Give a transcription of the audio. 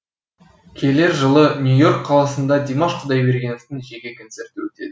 келер жылы нью и орк қаласында димаш құдайбергеновтың жеке концерті өтеді